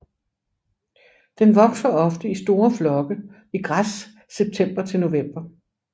Den vokser ofte i store flokke i græs september til november